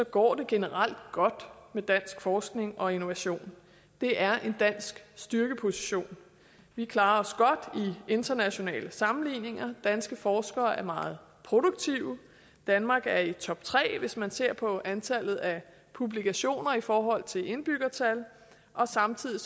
går det generelt godt med dansk forskning og innovation det er en dansk styrkeposition vi klarer os godt i internationale sammenligninger danske forskere er meget produktive danmark er i toptre hvis man ser på antallet af publikationer i forhold til indbyggertal samtidig